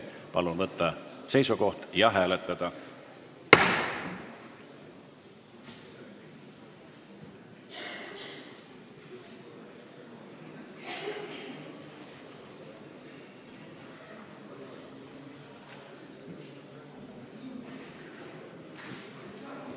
Palun võtta seisukoht ja hääletada!